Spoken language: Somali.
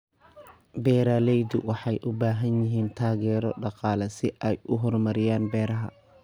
Beeraleydu waxay u baahan yihiin taageero dhaqaale si ay u horumariyaan beeraha.